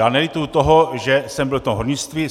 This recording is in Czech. Já nelituji toho, že jsem byl v tom hornictví.